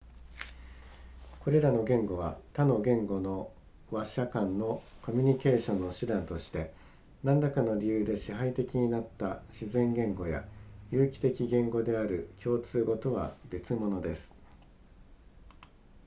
これらの言語は他の言語の話者間のコミュニケーションの手段として何らかの理由で支配的になった自然言語や有機的言語である共通語とは別物です